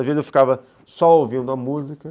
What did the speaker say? Às vezes eu ficava só ouvindo a música.